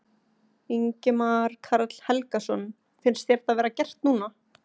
Ingimar Karl Helgason: Finnst þér það vera gert núna?